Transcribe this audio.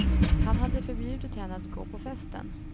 Han hade förbjudit henne att gå på festen.